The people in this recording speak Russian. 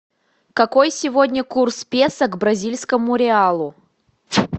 какой сегодня курс песо к бразильскому реалу